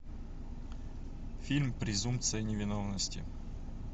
фильм презумпция невиновности